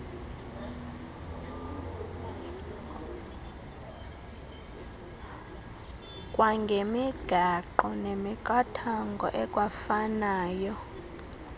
kwangemigaqo nemiqathango ekwafanayo